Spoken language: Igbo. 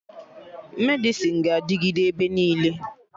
Medịsịn ga-adịgịde ebe niile